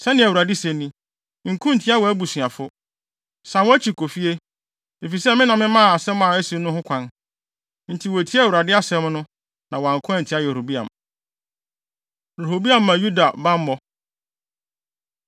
Sɛnea Awurade se ni: ‘Nko ntia wʼabusuafo. San wʼakyi kɔ fie, efisɛ me na memaa asɛm a asi no ho kwan!’ ” Enti wotiee Awurade asɛm no, na wɔanko antia Yeroboam. Rehoboam Ma Yuda Bammɔ